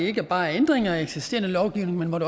ikke bare er ændringer af eksisterende lovgivning men